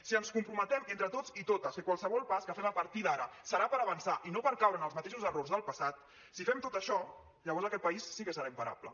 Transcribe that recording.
si ens comprometem entre tots i totes que qualsevol pas que fem a partir d’ara serà per avançar i no per caure en els mateixos errors del passat si fem tot això llavors aquest país sí que serà imparable